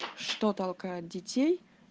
что толкает детей